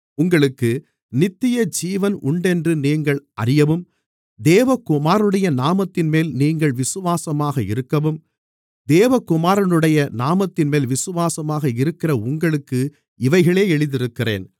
உங்களுக்கு நித்தியஜீவன் உண்டென்று நீங்கள் அறியவும் தேவகுமாரனுடைய நாமத்தின்மேல் நீங்கள் விசுவாசமாக இருக்கவும் தேவகுமாரனுடைய நாமத்தின்மேல் விசுவாசமாக இருக்கிற உங்களுக்கு இவைகளை எழுதியிருக்கிறேன்